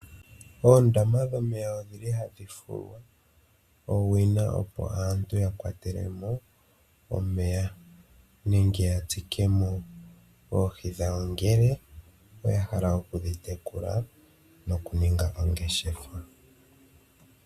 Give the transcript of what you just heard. Oondama dhomeya odhili ha dhi fulwa owina opo aantu ya kwatelemo omeya, nenge ya tulemo oohi dhawo ngele oya hala oku dhi tekula noku ninga ongeshefa.